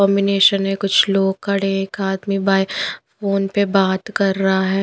Combination है कुछ लोग खड़े हैं एक आदमी बाहर फोन पे बात कर रहा है।